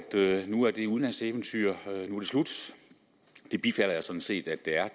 nu er det udenlandseventyr slut det bifalder jeg sådan set at det er